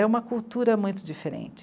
É uma cultura muito diferente.